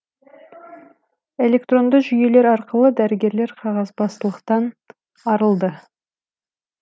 электронды жүйелер арқылы дәрігерлер қағазбастылықтан арылды